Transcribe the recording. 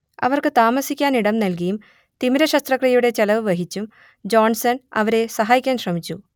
അവർക്ക് താമസിക്കാനിടം നൽകിയും തിമിരശസ്ത്രക്രിയയുടെ ചെലവ് വഹിച്ചും ജോൺസൺ അവരെ സഹായിക്കാൻ ശ്രമിച്ചു